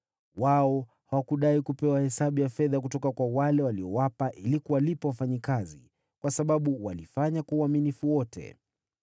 Wao hawakudai kupewa hesabu ya fedha kutoka kwa wale waliowapa ili kuwalipa wafanyakazi, kwa sababu walifanya kwa uaminifu wote.